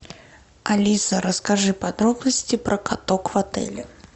алиса расскажи подробности про каток в отеле